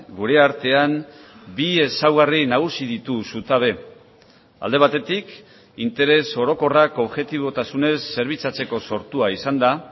gure artean bi ezaugarri nagusi ditu zutabe alde batetik interes orokorrak objetibotasunez zerbitzatzeko sortua izan da